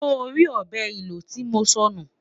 sọ rí ọbẹ ìlò tí mọ sọ nù?